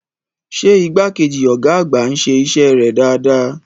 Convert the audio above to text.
Ṣé igbákejì ọ̀gá àgbà ń ṣe iṣẹ́ rẹ̀ dáadáa?